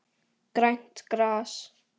Grænt gras.